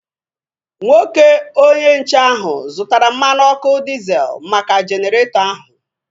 Nwoke onye nche ahu zụtara mmanụ ọkụ diezel maka Jeneretọ ahu